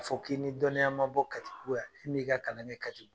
A fɔ k'i ni dɔnniya ma bɔ kati bugu yan . E min ka kalan kɛ katibugu ?